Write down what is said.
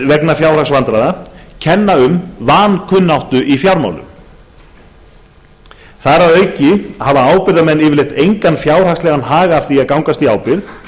vegna fjárhagsvandræða kenni um vankunnáttu í fjármálum þar að auki hafa ábyrgðarmenn yfirleitt engan fjárhagslegan hag af því að gangast í ábyrgð